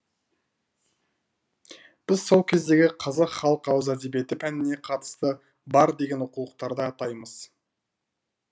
біз сол кездегі қазақ халық ауыз әдебиеті пәніне қатысы бар деген оқулықтарды атаймыз